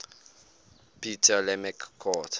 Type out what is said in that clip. ptolemaic court